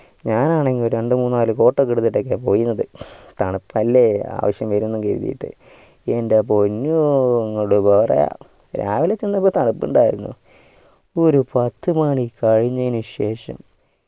ഞാൻ ആണേൽ രണ്ടു മൂന്ന് നാല് coat ഒക്കെ എടുത്തിടൊക്കെ പോയിരുന്നത് തണുപ്പലെ ആവിശ്യം വരുമെന്ന് കരുതീട്ട് എൻ്റെ പൊന്നൂ എന്ത് പറയാ രാവിലെ ചെന്നപ്പോ തണുപ്പുണ്ടായിരുന്നു ഒരു പത്തു മാണി കഴിഞ്ഞേന് ശേഷം